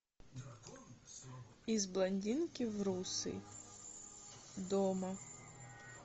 из блондинки в русый дома